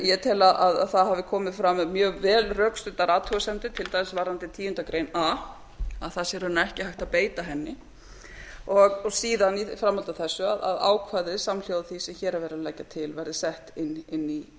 ég tel að það hafi komið fram við mjög vel rökstuddar athugasemdir til dæmis varðandi tíundu grein a að það sé ekki hægt að beita henni síðan í framhaldi af þessu að ákvæði samhljóða því sem hér er verið að leggja til verði sett inn í